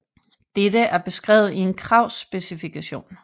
Dette er beskrevet i en kravspecifikation